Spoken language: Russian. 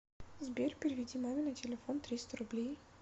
сбер переведи маме на телефон триста рублей